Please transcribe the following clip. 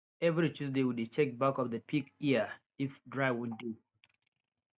every tuesday we dey check back of the pig ear if dry wound dey